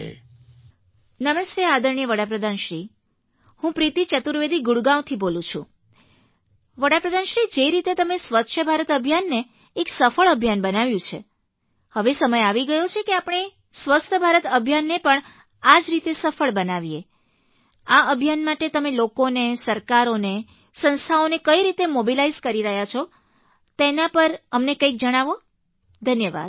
phone નમસ્તે આદરણીય વડા પ્રધાનશ્રીહું પ્રીતિ ચતુર્વેદી ગુડગાંવથી બોલું છુંવડા પ્રધાનશ્રી જે રીતે તમે સ્વચ્છ ભારત અભિયાનને એક સફળ અભિયાન બનાવ્યું છે હવે સમય આવી ગયો છે કે આપણે સ્વસ્થ ભારત અભિયાનને પણ આ જ રીતે સફળ બનાવીએઆ અભિયાન માટે તમે લોકોને સરકારોને સંસ્થાઓને કઈ રીતે મોબિલાઇઝ કરી રહ્યા છો તેના પર અમને કંઈક જણાવોધન્યવાદ